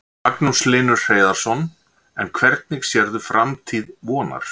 Magnús Hlynur Hreiðarsson: En hvernig sérðu framtíð Vonar?